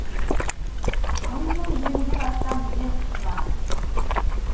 өнімнің жүз елуден астам ел тұтынады